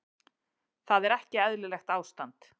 Þar er ekki eðlilegt ástand.